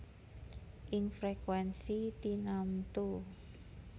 Ing frekuènsi tinamtu